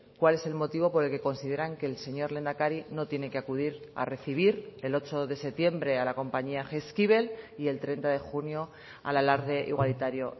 cuál es el motivo por el que consideran que el señor lehendakari no tiene que acudir a recibir el ocho de septiembre a la compañía jaizkibel y el treinta de junio al alarde igualitario